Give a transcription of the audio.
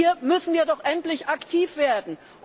Hier müssen wird doch endlich aktiv werden.